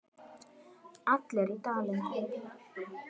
Allir í Dalinn!